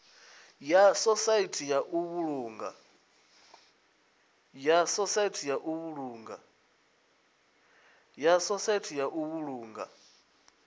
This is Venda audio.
ya sosaithi ya u vhulunga